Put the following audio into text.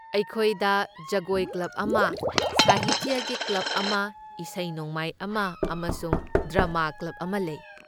ꯑꯩꯈꯣꯏꯗ ꯖꯒꯣꯏ ꯀ꯭ꯂꯕ ꯑꯃ, ꯁꯍꯤꯇ꯭ꯌꯒꯤ ꯀ꯭ꯂꯕ ꯑꯃ, ꯏꯁꯩ ꯅꯣꯡꯃꯥꯏ ꯑꯃ ꯑꯃꯁꯨꯡ ꯗ꯭ꯔꯥꯃꯥ ꯀ꯭ꯂꯕ ꯑꯃ ꯂꯩ꯫